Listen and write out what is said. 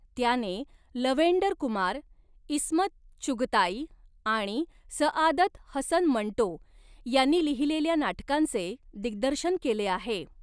त्याने लव्हेंडर कुमार, ईस्मत चुगताई आणि सआदत हसन मंटो यांनी लिहिलेल्या नाटकांचे दिग्दर्शन केले आहे.